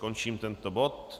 Končím tento bod.